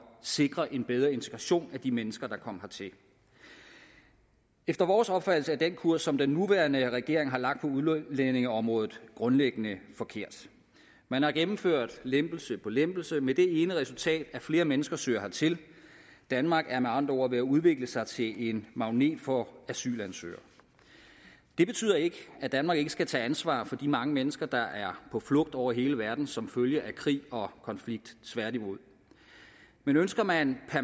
sikre en bedre integration af de mennesker der kom hertil efter vores opfattelse er den kurs som den nuværende regering har lagt på udlændingeområdet grundlæggende forkert man har gennemført lempelse på lempelse med det ene resultat at flere mennesker søger hertil danmark er med andre ord ved at udvikle sig til en magnet for asylansøgere det betyder ikke at danmark ikke skal tage ansvar for de mange mennesker der er på flugt over hele verden som følge af krig og konflikt tværtimod men ønsker man